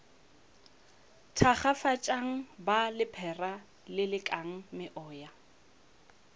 thakgafatšang ba lephera lelekang meoya